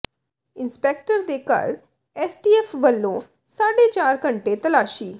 inspector ਦੇ ਘਰ STF ਵੱਲੋਂ ਸਾਢੇ ਚਾਰ ਘੰਟੇ ਤਲਾਸ਼ੀ